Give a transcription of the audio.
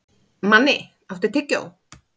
Manni, áttu tyggjó?